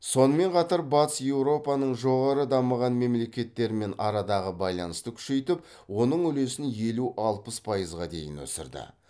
сонымен қатар батыс еуропаның жоғары дамыған мемлекеттерімен арадағы байланысты күшейтіп оның үлесін елу алпыс пайызға дейін өсірді